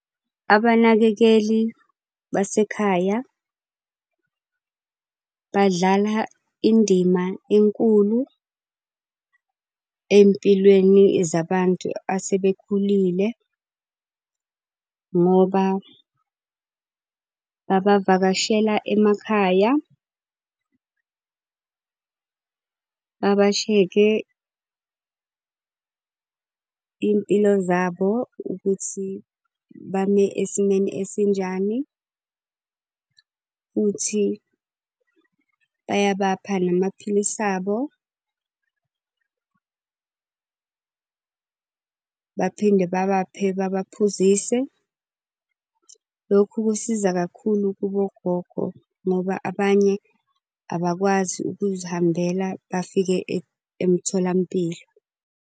Abanakekeli basekhaya badlala indima enkulu ey'mpilweni zabantu asebekhulile, ngoba babavakashele emakhaya. Babashekhe iy'mpilo zabo ukuthi bame esimeni esinjani, futhi baya bapha namaphilisi abo baphinde babaphe babaphuzise. Lokhu kusiza kakhulu kubo ogogo, ngoba abanye abakwazi ukuzihambela bafike emtholampilo.